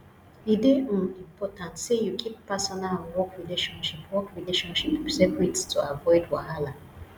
e dey um important sey you keep personal and work relationship work relationship separate to avoid wahala